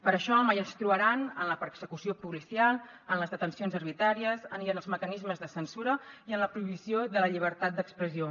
per això mai ens trobaran en la persecució policial en les detencions arbitràries ni en els mecanismes de censura ni en la prohibició de la llibertat d’expressió